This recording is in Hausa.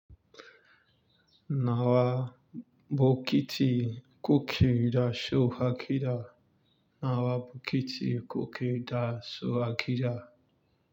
Nawa bokiti coke da Shawarma kira? Nawa bokiti kuke da su a gida?